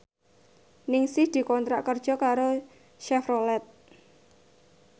Ningsih dikontrak kerja karo Chevrolet